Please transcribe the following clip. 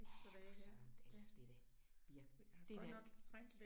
Ja for Søren. Altså det da vi har det da